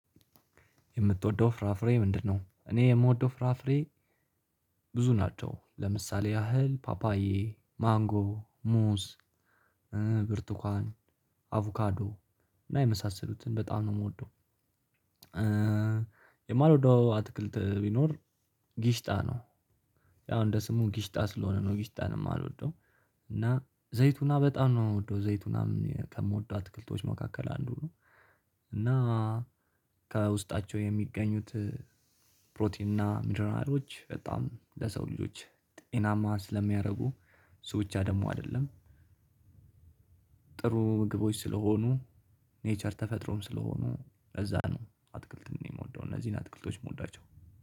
የምትወደው ፍራፍሬ ምንድነው? እኔ የምወደው ፍራፍሬ ብዙ ናቸው ለምሳሌ ያህል ፓፓዬ ማንጎ ሙዝ ብርቱካን አቮካዶ እና የመሳሰሉትን በጣም ነው የምወደው። የማልወደው አትክልት ቢኖር ጊሽጣ ነው። ያው እንደ ስሙ ጊሽጣ ስለሆነ ነው ጊሽጣ ነው የማልወደው። እና ዘይቱና በጣም ነው የምወደው ዘይቱናም ከምወደው አትክልቶች መካከል አንዱ ነው። እና ከውስጣቸው የሚገኙት ፕሮቲን እና ምኒራሎች በጣም ለሰው ልጆች ጤናማ ስለሚያደርጉ እሱ ብቻ ደግሞ አይደለም። ጥሩ ምግቦች ስለሆኑ ኔቸር ተፈጥሮም ስለሆኑ ለዛ ነው አትክልትን የምወደው። እነዚህን አትክልቶች የምወዳቸው